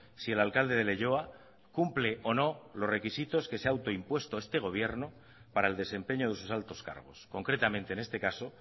si el alcalde de leioa cumple o no los requisitos que se ha autoimpuesto este gobierno para el desempeño de sus altos cargos concretamente en este caso